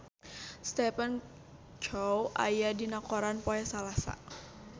Stephen Chow aya dina koran poe Salasa